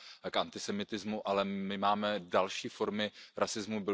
k antisemitismu, ale my máme i další formy rasismu.